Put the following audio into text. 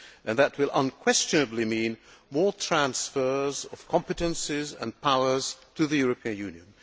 That will unquestionably mean more transfers of competences and powers to the European Union.